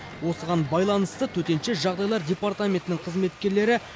осыған байланысты төтенше жағдайлар департаментінің қызметкерлері